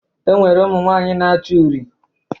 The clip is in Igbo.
E nwere ụmụnwaanyị na-acha uri